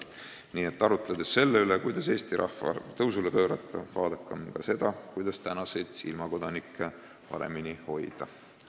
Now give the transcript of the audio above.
Nii et arutledes selle üle, kuidas Eesti rahvaarv tõusule pöörata, vaadakem ka seda, kuidas oma ilmakodanikke paremini hoida.